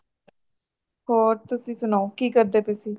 ਹੋਰ ਤੁਸੀ ਸੁਣਾਓ ਕੀ ਕਰਦੇ ਪਏ ਸੀ